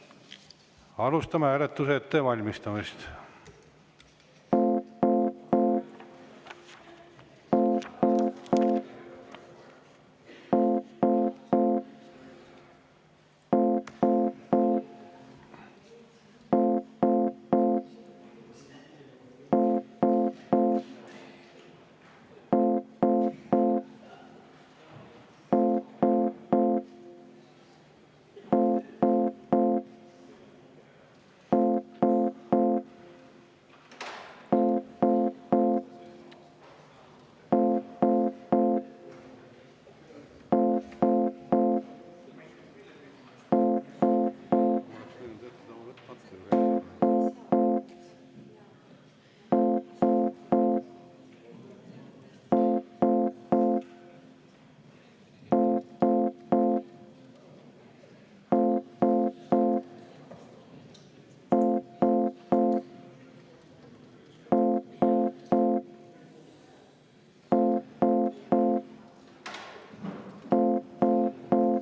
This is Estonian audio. Alustame hääletuse ettevalmistamist.